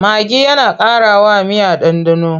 Magi yana ƙarawa miya ɗanɗano.